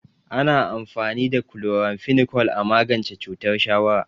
Ana amfani da chloramphenicol a magance cutar shawara.